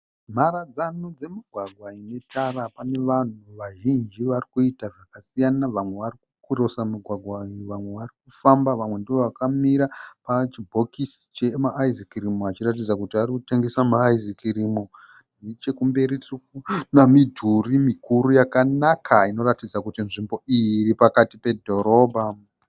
Mharadzano dzemugwagwa netara pane vanhu vazhinji vari kuita zvakasiyana vamwe vari kukirosa mugwagwa uyu vamwe vari kufamba vamwe ndivo vakamira pachibhokisi chema ayizi kirimu vachiratidza kuti vari kutengesa ma ayizi kirimu nechekumberi tiri kuona midhuri mikuru yakanaka inoratidza kuti nzvimbo iyi iri pakati pedhorobha.